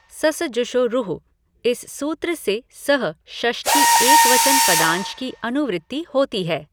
ससजुषो रुः इस सूत्र से सः षष्ठी एकवचन पदांश की अनुवृत्ति होती है।